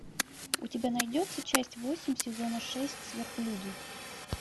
у тебя найдется часть восемь сезона шесть сверхлюди